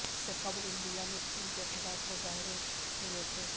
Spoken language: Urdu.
اس سے قبل انڈیا میں چین کے خلاف مظاہرے ہوئے تھے